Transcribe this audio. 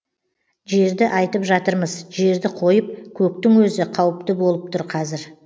жерді айтып жатырмыз жерді қойып көктің өзі қауіпті болып тұр қазір